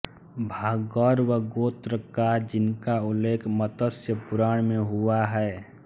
भार्गव गोत्रकार जिनका उल्लेख मत्स्य पुराण में हुआ है म